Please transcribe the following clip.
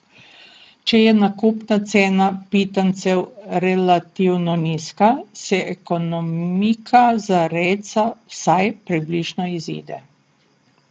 Če je nakupna cena pitancev relativno nizka, se ekonomika za rejca vsaj približno izide.